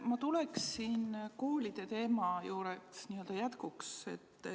Ma tuleksin n-ö jätkuks koolide teema juurde.